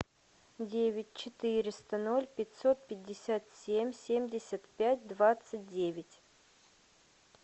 девять четыреста ноль пятьсот пятьдесят семь семьдесят пять двадцать девять